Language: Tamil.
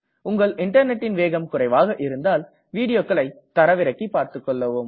உங்கள் இன்டர்நெட்டின் வேகம் குறைவாக இருந்தால் வீடியோக்களை தரவிறக்கி செய்து பார்த்துக்கொள்ளவும்